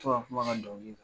F'a ka kuma a ka dɔnkili la.